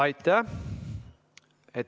Aitäh!